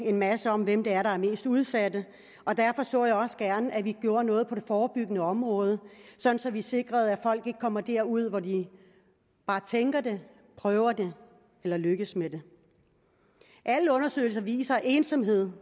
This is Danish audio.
en masse om hvem det er der er mest udsat og derfor så jeg også gerne at vi gjorde noget på det forebyggende område så vi sikrede at folk ikke kommer derud hvor de bare tænker det prøver det eller lykkes med det alle undersøgelser viser at ensomhed